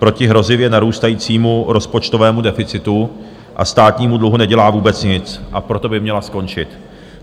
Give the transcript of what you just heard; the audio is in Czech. Proti hrozivě narůstajícímu rozpočtovému deficitu a státnímu dluhu nedělá vůbec nic, a proto by měla skončit.